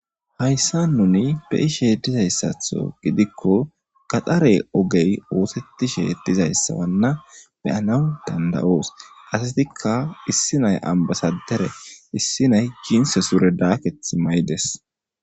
Hayssa nuni beyishe dizayssatho gidikko kaxare ogey oosettishe dizayssawanna beyanaw dandayoos asatikka issi nay ambasadere issi nay ginse sure daaketh may7des.